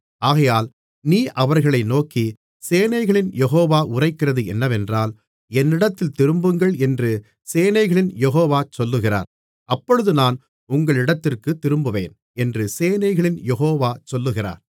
ஆகையால் நீ அவர்களை நோக்கி சேனைகளின் யெகோவா உரைக்கிறது என்னவென்றால் என்னிடத்தில் திரும்புங்கள் என்று சேனைகளின் யெகோவா சொல்லுகிறார் அப்பொழுது நான் உங்களிடத்திற்குத் திரும்புவேன் என்று சேனைகளின் யெகோவா சொல்லுகிறார்